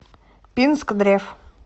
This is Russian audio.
пинскдрев